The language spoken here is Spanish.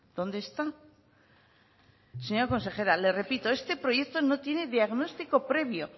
dónde está señora consejera le repito este proyecto no tiene diagnóstico previo